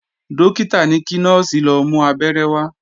Dókítà ní kí Nọ́ọ̀sì lọ mú Abẹ́rẹ́ wá